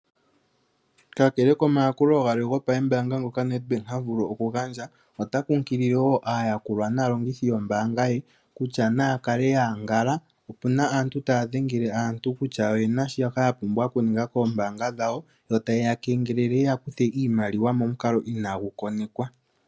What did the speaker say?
Kakele komayakulo galwe ngoka gopambaanga Nedbank ha vulu okugandja, ota kunkilile wo aayakulwa naalongithi yombaanga ye kutya naya kale ya londodhwa opu na aantu taya dhengele aantu kutya oye na shoka ye na okuninga koombaanga dhawo yo taye ya kengelele moku ya kutha iimaliwa momukalo inaagu konekiwa.